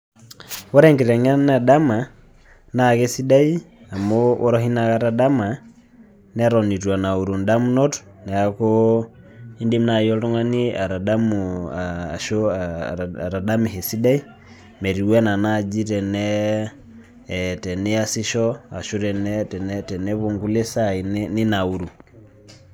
Ore enkitengena edama na kesidai amu ore oshi inakata dama neton itu enauru ndamunot neaku indim naai oltung'ani atadamu ashu atadamisho esidai metiu anaa naji teniasisho ashu tenepuo nkulie sai ninauru.